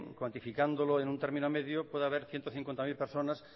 cuantificándolo en un término medio puede haber ciento cincuenta mil personas